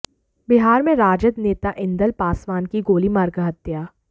बिहार में राजद नेता इंदल पासवान की गोली मारकर हत्या